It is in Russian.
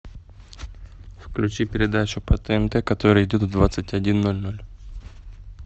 включи передачу по тнт которая идет в двадцать один ноль ноль